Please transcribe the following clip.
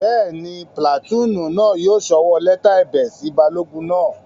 Bẹ́ẹ̀ni, pìlàtúùnù náà yóò sọwọ́ lẹ́tà ẹ̀bẹ̀ sí balógun náà